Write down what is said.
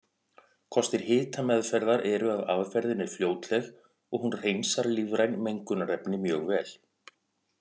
Kostir hitameðferðar eru að aðferðin er fljótleg og hún hreinsar lífræn mengunarefni mjög vel.